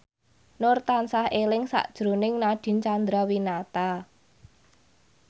Nur tansah eling sakjroning Nadine Chandrawinata